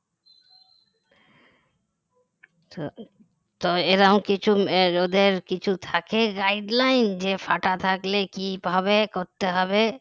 তো তো এরকম কিছু ওদের কিছু থাকে guideline যে ফাটা থাকলে কিভাবে করতে হবে